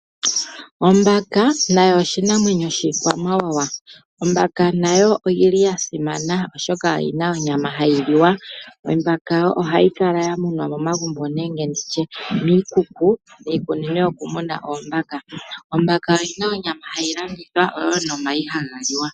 Ombaka nayo oshinamwenyo shiikwamawawa. Ombaka oyasimana oshoka oyina onyama hayi liwa. Ombaka ohayi kala ya munwa momagumbo nenge nditye miikuku, miikunino yokumuna oombaka. Ombaka oyina onyama hayi landithwa nomayi haga liwa.